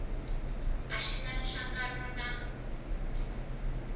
a xi na nhlangano na